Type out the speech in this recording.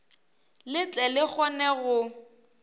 le tle le kgone go